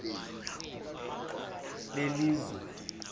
belizwe